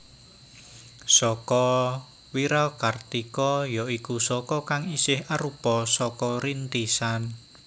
Saka Wirakartika ya iku Saka kang isih arupa Saka Rintisan